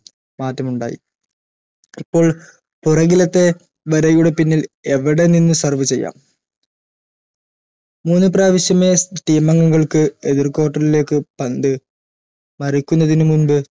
മാറ്റമുണ്ടായി ഇപ്പോൾ പുറകിലത്തെ വരയുടെ പിന്നിൽ എവിടെ നിന്നു serve ചെയ്യാം മൂന്ന് പ്രാവിശ്യമേ team അംഗങ്ങൾക്ക് എതിർ court ഇലേക്ക് പന്ത് മറിക്കുന്നതിന് മുമ്പ്